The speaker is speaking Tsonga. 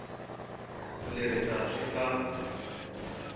ku ri leswi swi nga